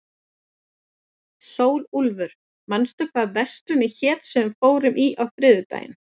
Sólúlfur, manstu hvað verslunin hét sem við fórum í á þriðjudaginn?